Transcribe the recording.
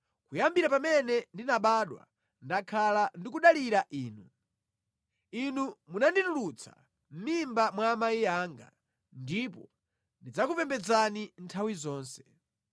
Kuyambira pamene ndinabadwa, ndakhala ndikudalira Inu; Inu munanditulutsa mʼmimba mwa amayi anga, ndipo ndidzakupembedzani nthawi zonse.